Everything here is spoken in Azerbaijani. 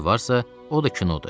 o da kinodur.